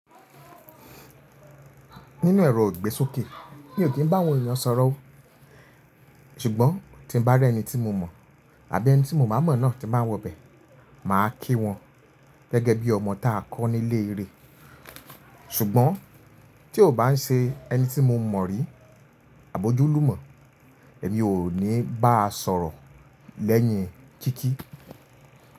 Nínú ẹ̀rọ ìgbésókè, mi ò kí ń bá àwọn èèyàn sọ̀rọ̀ ó, ṣùgbọ́n tí ń bá rẹ́ ẹni tí mo mọ̀ àbí ẹni tí mo má mọ̀ náà tí ń bá wọ bẹ̀, mà á kí wọn gẹ́gẹ́ bí ọmọ ta kọ́ nílé re. Ṣùgbọ́n tí ó bá ń ṣe ẹni tí mo mọ̀ rí àbojú lú mọ̀, èmi ò ní bá a sọ̀rọ̀ lẹ́yìn kíkí.